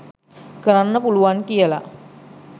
කරන්න පුළුවන් කියල